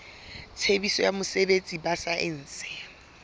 tshebetso ya botsebi ba saense